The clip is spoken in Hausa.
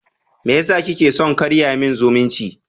Meyasa kike son karya min zumunci?